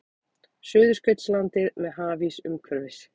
Suðurskautslandið með hafís umhverfis.